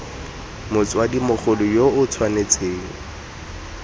motsadi mogolo yo o tshwanetseng